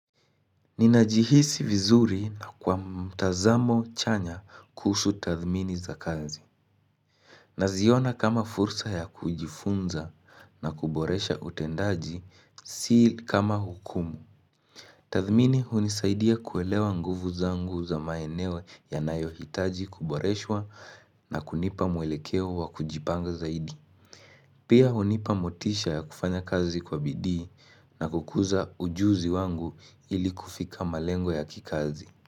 Ninajihisi vizuri na kwa mtazamo chanya kuhusu tathmini za kazi Naziona kama fursa ya kujifunza na kuboresha utendaji si kama hukumu Tathmini hunisaidia kuelewa nguvu zangu za maeneo yanayohitaji kuboreshwa na kunipa mwelekeo wa kujipanga zaidi Pia hunipa motisha ya kufanya kazi kwa bidii na kukuza ujuzi wangu ili kufika malengo ya kikazi.